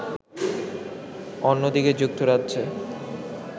অন্যদিকে যুক্তরাজ্যে